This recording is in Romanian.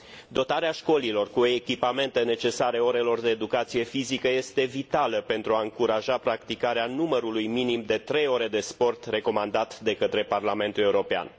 Dotarea școlilor cu echipamente necesare orelor de educație fizică este vitală pentru a încuraja practicarea numărului minim de trei ore de sport recomandat de către Parlamentul European.